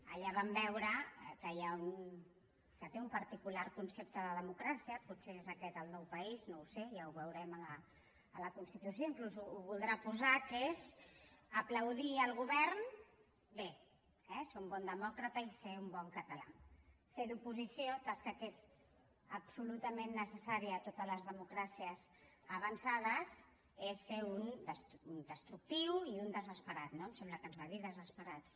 allà vam veure que hi ha que té un particular concepte de democràcia potser és aquest el nou país no ho sé ja ho veurem a la constitució inclús ho voldrà posar que és aplaudir el govern bé eh és un bon demòcrata i ser un bon català fer d’oposició tasca que és absolutament necessària a totes les democràcies avançades és ser un destructiu i un desesperat no em sembla que ens va dir desesperats